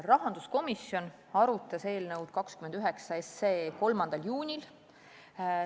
Rahanduskomisjon arutas eelnõu 29 tänavu 3. juunil.